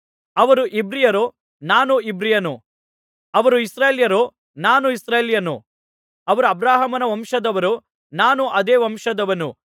ಅವರು ಇಬ್ರಿಯರೋ ನಾನೂ ಇಬ್ರಿಯನು ಅವರು ಇಸ್ರಾಯೇಲ್ಯರೋ ನಾನೂ ಇಸ್ರಾಯೇಲ್ಯನು ಅವರು ಅಬ್ರಹಾಮನ ವಂಶದವರೋ ನಾನೂ ಅದೇ ವಂಶದವನು